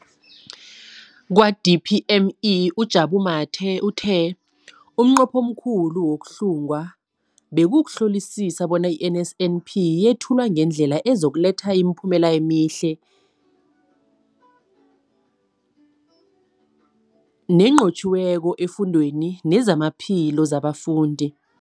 Kwa-DPME, uJabu Mathe, uthe umnqopho omkhulu wokuhlunga bekukuhlolisisa bona i-NSNP yethulwa ngendlela ezokuletha imiphumela emihle nenqotjhiweko efundweni nezamaphilo wabafundi.